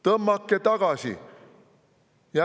Tõmmake tagasi!